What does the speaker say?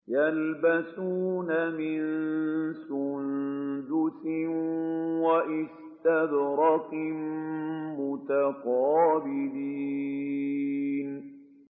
يَلْبَسُونَ مِن سُندُسٍ وَإِسْتَبْرَقٍ مُّتَقَابِلِينَ